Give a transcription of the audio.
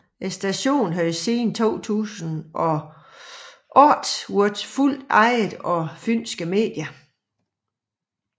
Stationen havde siden 2008 været fuldt ejet af Fynske Medier